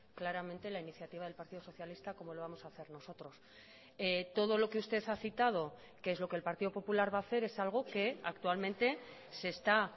claramente la iniciativa del partido socialista como lo vamos a hacer nosotros todo lo que usted ha citado que es lo que el partido popular va a hacer es algo que actualmente se está